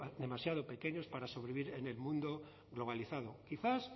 demasiado pequeños para sobrevivir en el mundo globalizado quizás